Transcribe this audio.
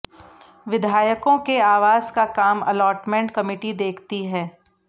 विधायकों के आवास का काम अलॉटमेंट कमिटी देखती है